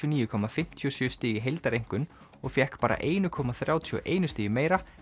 og níu fimmtíu og sjö stig í heildareinkunn og fékk bara eitt komma þrjátíu og einu stigi meira